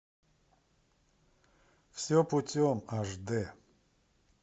все путем аш дэ